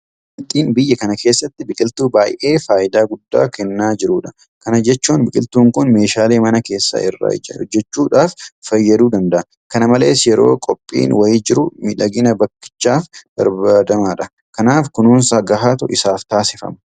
Meexxiin biyya kana keessatti biqiltuu baay'ee faayidaa guddaa kennaa jirudha. Kana jechuun biqiltuun kun meeshaalee mana keessaa irraa hojjechuudhaaf fayyaduu danda'a. Kana malees yeroo qophiin wayii jiru miidhagina bakkichaatiif barbaadamaadha. Kanaaf kunuunsa gahaatu isaaf taasifama.